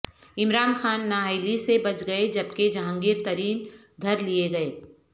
عمران خان نااہلی سے بچ گئےجبکہ جہانگیر ترین دھر لیے گئے